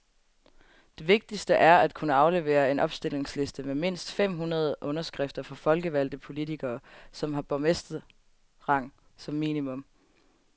Det vigtigste er at kunne aflevere en opstillingsliste med mindst fem hundrede underskrifter fra folkevalgte politikere, som har borgmesterrang som minimum.